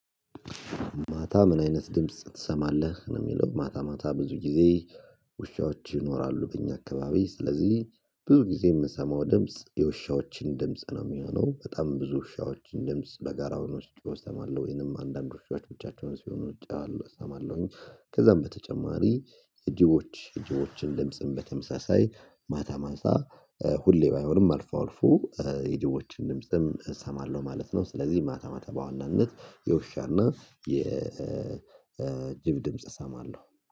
ማታ ምን አይነት ድምጽ ትሰማለህ ነው የሚለው? ማታ ማታ ብዙ ጊዜ ውሻዎች ይኖራሉ በእኛ አካባቢ ስለዚህ ብዙ ጊዜ የምሰማው ድምጽ የውሻዎችን ድምጽ ነው የሚሆነው በጣም ብዙ ውሻዎች በጋራ ሆኖ ሲጮሁ እሰማለሁ ወይንም አንዳንድ ውሾች ብቻቸውን ሲሆኑ እሰማለሁኝ። ከዛም በተጨማሪ ጅቦች ጅቦችን ድምጽም በተመሳሳይ ማታ ማታ ሁሌ ባይሆንም አልፎ አልፎ የጅቦችን ድምጽም እሰማለሁ ማለት ነው። ስለዚህ ማታ ማታ በዋናነት የውሻና የ የጅብ ድምጽ እሰማለሁ